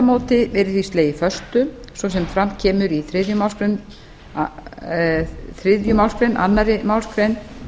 móti yrði því slegið föstu svo sem fram kemur í þriðja málsl annarri málsgrein